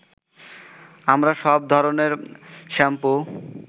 আমরা সব ধরনের শ্যাম্পু